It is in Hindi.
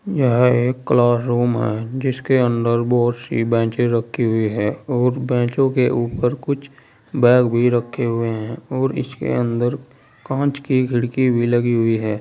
यह एक क्लास रूम है जिसके अंदर बहोत सी बेचें रखी हुई है और बेचो के ऊपर कुछ बैग भी रखे हुए हैं और इसके अंदर कांच की खिड़की भी लगी हुई है।